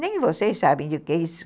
Nem vocês sabem o que é isso.